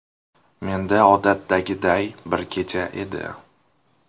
Menda odatdagiday bir kecha edi.